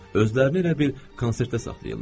Özlərini elə bil konsertə saxlayırlar.